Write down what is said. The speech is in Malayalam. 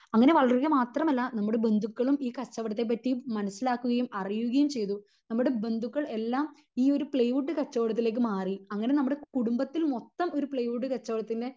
അങ്ങിനെ വളരുക മാത്രം അല്ല നമ്മുടെ ബന്ധുക്കളും ഈ കച്ചവടത്തെ പറ്റി മനസിലാക്കുകയും അറിയുകയും ചെയ്തു നമ്മുടെ ബന്ധുക്കൾ എല്ലാം ഈ ഒരു പ്ലൈവുഡ്ഡ് കച്ചവടത്തിലേക്ക് മാറി അങ്ങിനെ നമ്മുടെ കുടുംബത്തിൽ മൊത്തം ഒരു പ്ലൈവുഡ്ഡ് കച്ചവടത്തിൻ്റെ